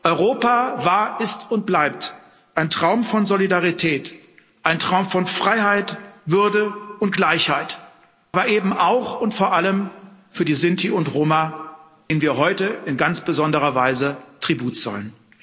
Europa war, ist und bleibt ein Traum von Solidarität, ein Traum von Freiheit, Würde und Gleichheit, aber eben auch und vor allem für die Sinti und Roma, denen wir heute in ganz besonderer Weise Tribut zollen.